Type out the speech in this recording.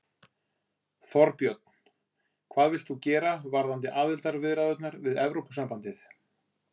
Þorbjörn: Hvað vilt þú gera varðandi aðildarviðræðurnar við Evrópusambandið?